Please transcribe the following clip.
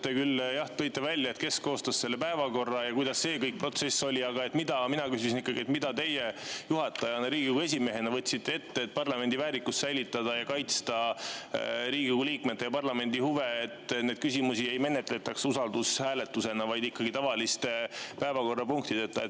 Te küll ütlesite, kes koostas selle päevakorra ja kuidas see protsess kõik käis, aga mina küsisin, mida teie juhatajana ja Riigikogu esimehena võtsite ette, et parlamendi väärikust säilitada ning kaitsta Riigikogu liikmete ja parlamendi huve, et neid küsimusi ei menetletaks usaldushääletuse abil, vaid tavaliste päevakorrapunktidena.